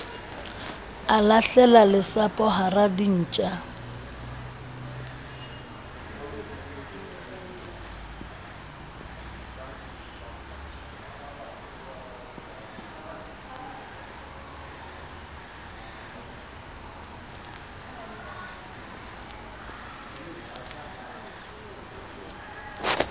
a lahlela lesapo hara dintja